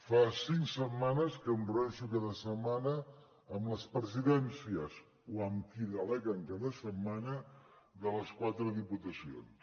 fa cinc setmanes que em reuneixo cada setmana amb les presidències o amb qui deleguen cada setmana de les quatre diputacions